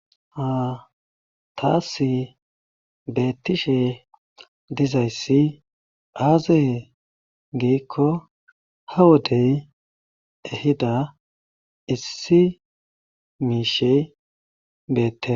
Ha tas betishe dizaysi aze gikko ha wodey ehida Issi mishey betes